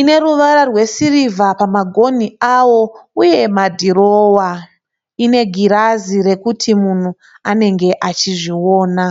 ineruvara rwesirivha pamagonhi awo uye madhirowa. Ine magirazi rekuti munhu anenge achizviona.